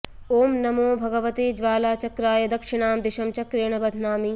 ॐ नमो भगवते ज्वालाचक्राय दक्षिणां दिशं चक्रेण बध्नामि